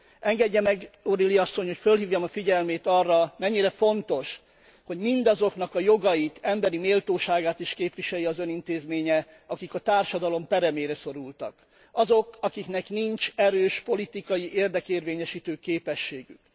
Engedje meg O'Reilly asszony, hogy fölhívjam a figyelmét arra, mennyire fontos, hogy mindazoknak a jogait, emberi méltóságát is képviselje az Ön intézménye, akik a társadalom peremére szorultak. Azok, akiknek nincs erős politikai érdekérvényesítő képességük.